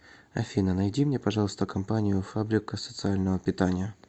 афина найди мне пожалуйста компанию фабрика социального питания